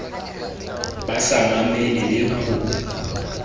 ba sa mamele le ho